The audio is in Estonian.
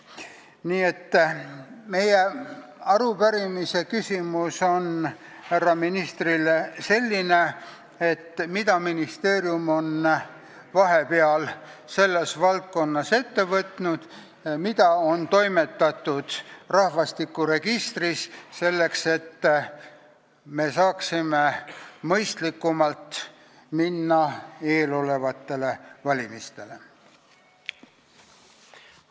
Nii et meie küsimus härra ministrile on selline: mida ministeerium on vahepeal selles valdkonnas ette võtnud, mida on toimetatud rahvastikuregistris, selleks et me saaksime mõistlikumalt eelolevatele valimistele vastu minna?